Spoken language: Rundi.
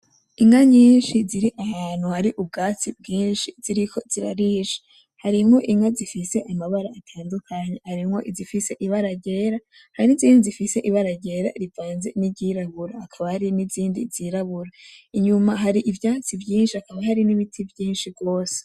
Inka nyinshi ziri ahantu hari ubwatsi bwinshi ziriko zirarisha, harimwo inka zifise amabara atandukanye, harimwo izifise ibara ryera hari n'izindi zifise ibara ryera rivanze n'iryirabura hakaba hari nizindi zirabura, inyuma hari ivyatsi vyinshi hakaba hari n'ibiti vyinshi gose.